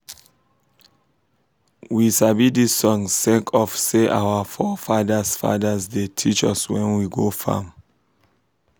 we sabi dis song sake of say our fore fadas fadas da teach us wen we go farm